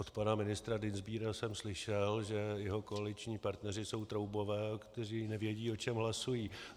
Od pana ministra Dienstbiera jsem slyšel, že jeho koaliční partneři jsou troubové, kteří nevědí, o čem hlasují.